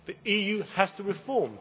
The EU has to reform.